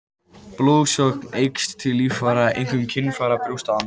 Blóðsókn eykst til líffæra, einkum kynfæra, brjósta og andlits.